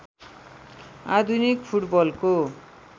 आधुनिक फुटबलको